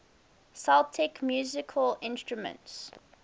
celtic musical instruments